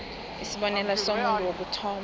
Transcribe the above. isibonelo somuntu wokuthoma